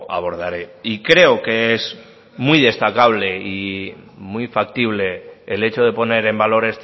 abordaré y creo que es muy destacable y muy factible el hecho de poner en valor